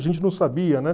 A gente não sabia, né?